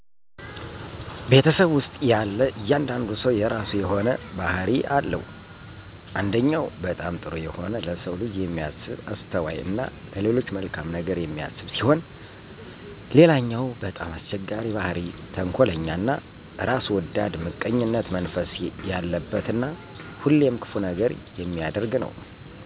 ቤተሰብ ውስጥ ያለ እያንዳንዱ ሰው የረሱ የሆነ ባህሪ አለው አንደኛው በጣም ጥሩ የሆነ ለሰው ልጅ የሚያስብ አስተዋይ እና ለሌሎች መልካም ነገር የሚያስብ ሲሆን ሌለኛው በጣም አስቸጋሪ ባህሪ ተንኮለኛ እና ራስ ወዳድ ምቀኝነት መንፈስ የለበት እና ሁሌም ክፉ ነገር የሚያደርግ ነው